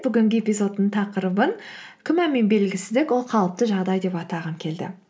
бүгінгі эпизодтың тақырыбын күмән мен белгісіздік ол қалыпты жағдай деп атағым келді